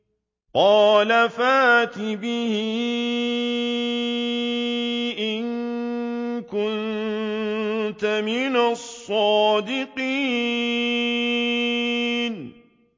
قَالَ فَأْتِ بِهِ إِن كُنتَ مِنَ الصَّادِقِينَ